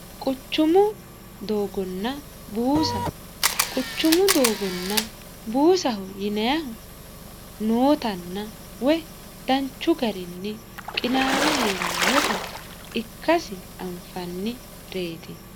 Quchumu doogonna buusa quchumu doogonna buusaho yinayahu nootanna woy danchu garinni qinaawe heerannota ikkasi anfannireti